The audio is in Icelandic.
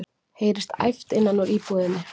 heyrist æpt innan úr búðinni.